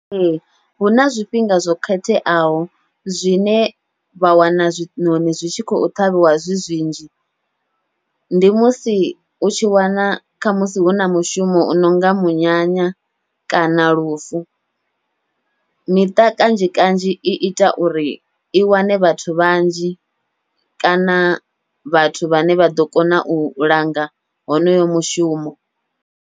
Ee, huna zwifhinga zwo khetheaho zwine vha wana zwiṋoṋi zwi tshi khou ṱhavhiwa zwi zwinzhi, ndi musi u tshi wana kha musi huna mushumo u nonga munyanya kana lufu. Miṱa kanzhi kanzhi iita uri i wane vhathu vhanzhi kana vhathu vhane vha ḓo kona u langa honoyo mushumo.